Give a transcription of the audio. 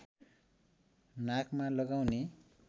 नाकमा लगाउने